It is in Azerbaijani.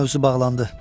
O mövzu bağlandı.